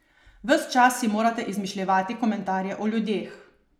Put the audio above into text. Ves čas si morate izmišljevati komentarje o ljudeh.